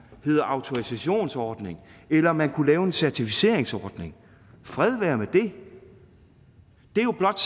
hedder autorisationsordning eller om man kunne lave en certificeringsordning fred være med det det er jo blot